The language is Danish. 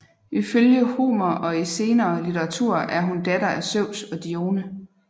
Ifølge Homer og i senere litteratur er hun datter af Zeus og Dione